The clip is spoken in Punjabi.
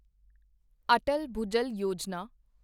ਅਟਲ ਭੁਜਲ ਯੋਜਨਾ